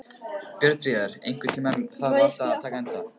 Björnfríður, einhvern tímann þarf allt að taka enda.